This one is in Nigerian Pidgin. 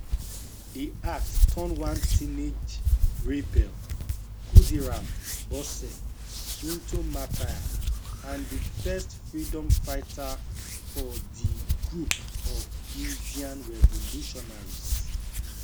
dat act turn one teenage rebel khudiram bose into martyr and di first freedom fighter for di group of indian revolutionaries